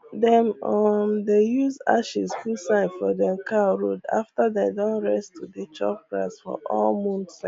dem um dey use ashes put sign for dem cow road after dem don rest to dey chop grass for all moon cycle